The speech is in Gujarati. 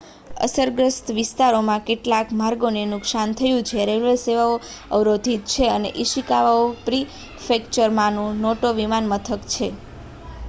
અસરગ્રસ્ત વિસ્તારોમાં કેટલાક માર્ગોને નુક્શાન થયું છે રેલવે સેવાઓ અવરોધિત છે અને ઇશિકાવા પ્રીફેક્ચરમાંનું નોટો વિમાનમથક બંધ છે